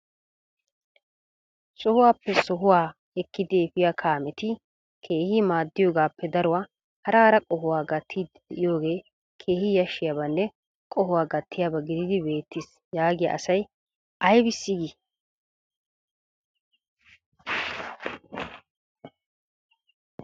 Sohuwappe sohuwaw ekkidi effiya kameti kehi maddiyogappe daruwa hara hara qohuwa gattiidi deiyooge keehi yashshiyabanne qohuwa gattiyaaba gididi beettis yaggiya asay aybissi gii?